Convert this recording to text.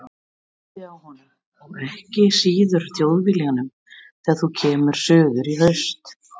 Varaðu þig á honum, og ekki síður Þjóðviljanum þegar þú kemur suður í haust.